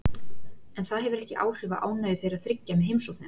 En það hefur ekki áhrif á ánægju þeirra þriggja með heimsóknina.